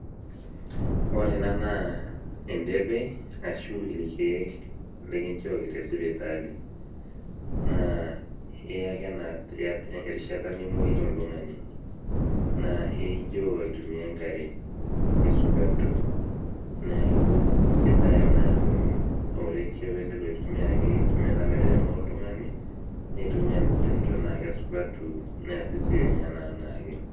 Ore enaa naa endepe ashu irkiek likinchooki tesipitali, naa iyaki endaalo erishata nimoita oltungani, naa iijoo aitumia enkare neaku sidai ena amu ore pemoyu oltungani nitumia lchanito na kesidanu meas esiai enye anaake.